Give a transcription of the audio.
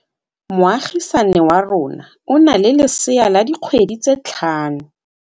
Moagisane wa rona o na le lesea la dikgwedi tse tlhano.